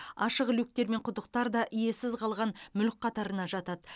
ашық люктер мен құдықтар да иесіз қалған мүлік қатарына жатады